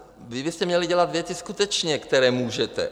Vy byste měli dělat věci skutečně, které můžete.